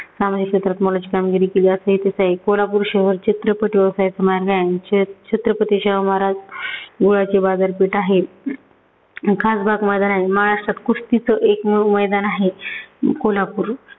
सामाजिक क्षेत्रात बरीच कामगीरी केली असे आहे. कोल्हपूर शहर चित्रपट व्यवसायात छ छत्रपती शाहू महाराज गुळाची बाजारपेठ आहे. खासबाग मैदान आहे. महाराष्ट्रात कुस्तीचं एकमेव मैदान आहे. अं कोल्हापूर